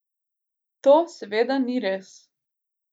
To seveda ni res.